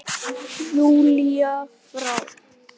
Júlíu frá.